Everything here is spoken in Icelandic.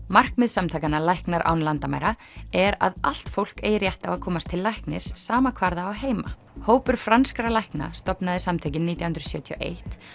markmið samtakanna læknar án landamæra er að allt fólk eigi rétt á að komast til læknis sama hvar það á heima hópur franskra lækna stofnaði samtökin nítján hundruð sjötíu og eitt